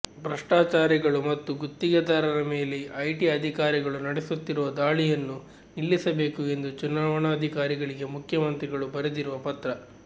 ಭ್ರಷ್ಟಾಚಾರಿಗಳು ಮತ್ತು ಗುತ್ತಿಗೆದಾರರ ಮೇಲೆ ಐಟಿ ಅಧಿಕಾರಿಗಳು ನಡೆಸುತ್ತಿರುವ ದಾಳಿಯನ್ನು ನಿಲ್ಲಿಸಬೇಕು ಎಂದು ಚುನಾವಣಾಧಿಕಾರಿಗಳಿಗೆ ಮುಖ್ಯಮಂತ್ರಿಗಳು ಬರೆದಿರುವ ಪತ್ರ